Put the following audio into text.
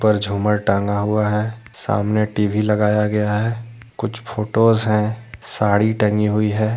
ऊपर झूमर टांगा हुआ है सामने टी_वी लगाया गया है कुछ फोटोज हैं साड़ी टंगी हुई है।